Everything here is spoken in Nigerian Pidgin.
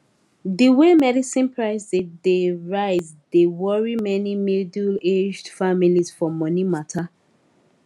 the way medicine price dey dey rise dey worry many middleaged families for money matter